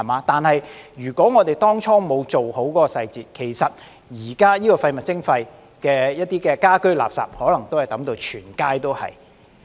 不過，如果我們當初沒有做好細節，就像現時推行廢物徵費時，一些家居垃圾也可能會被丟到滿街也是。